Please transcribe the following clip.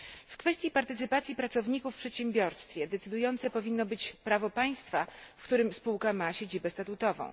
W kwestii partycypacji pracowników w przedsiębiorstwie decydujące powinno być prawo państwa, w którym spółka ma siedzibę statutową.